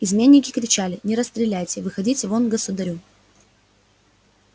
изменники кричали не расстреляйте выходите вон к государю